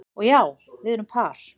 Og já, við erum par